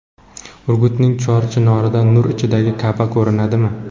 Urgutning Chor chinorida nur ichidagi Ka’ba ko‘rinadimi?.